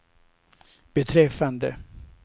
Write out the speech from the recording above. beträffande